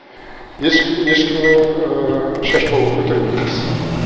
ешкім ешкімнің шашбауын көтермейміз